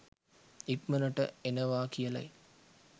ඉක්‌මනට එනවා කියලයි.